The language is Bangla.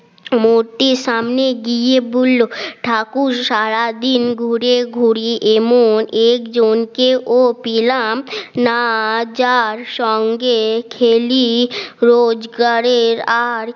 মূর্তি সামনে গিয়ে বলল ঠাকুর সারাদিন ঘুরে ঘুরে এমন একজনকে ও পেলাম না যার সঙ্গে খেলি রোজগারের আর